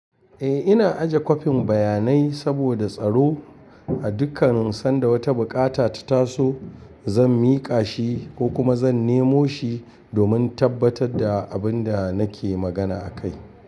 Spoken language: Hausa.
Eh, ina aje kwafin bayanai saboda tsaro. A dukkan sanda wata buƙata ta taso, zan miƙa shi ko kuma zan nemo shi domin tabbatar da abin da nake magana akai.